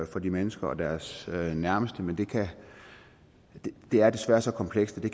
for de mennesker og deres nærmeste men det det er desværre så komplekst at det